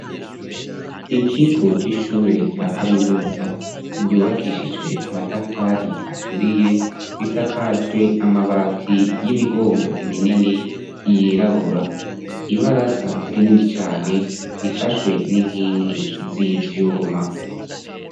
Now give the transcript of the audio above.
Ikigo c'ishure rya kaminuza ryubakishijwe amatafari aturiye risakajwe amabati y'imigongo minini yirabura ibaraza rinini cane rifashwe n'inkingi z'ivyuma.